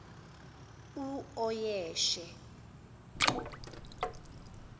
uoyeshe